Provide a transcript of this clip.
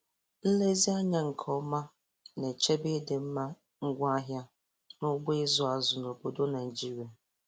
Nlezi anya nke ọma na-echebe ịdịmma ngwaahịa n'ugbo ịzụ azụ n'obodo Naịjiria